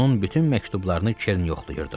Onun bütün məktublarını Keren yoxlayırdı.